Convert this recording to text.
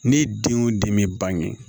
Ne denw den bɛ bange